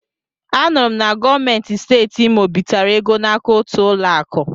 A nụrụ m na gọọmenti Steeti Imo bitere ego n'aka otu ụlọ akụ.